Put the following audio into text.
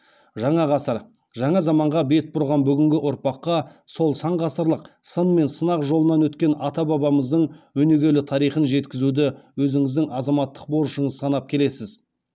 жаңа ғасыр жаңа заманға бет бұрған бүгінгі ұрпаққа сол сан ғасырлық сын мен сынақ жолынан өткен ата бабамыздың өнегелі тарихын жеткізуді өзіңіздің азаматтық борышыңыз санап келесіз